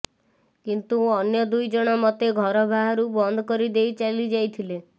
କିନ୍ତୁ ଅନ୍ୟ ଦୁଇଜଣ ମୋତେ ଘର ବାହାରୁ ବନ୍ଦ କରିଦେଇ ଚାଲିଯାଇଥିଲେ